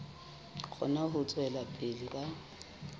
kgone ho tswela pele ka